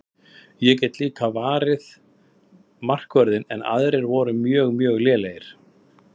Ég get líka varið markvörðinn en aðrir voru mjög mjög lélegir.